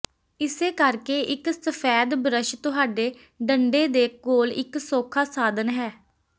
ਇਸੇ ਕਰਕੇ ਇਕ ਸਫੈਦ ਬਰੱਸ਼ ਤੁਹਾਡੇ ਡੰਡੇ ਦੇ ਕੋਲ ਇਕ ਸੌਖਾ ਸਾਧਨ ਹੈ